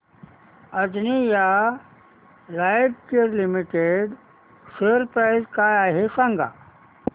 Anjaneya Lifecare Limited share price काय आहे सांगा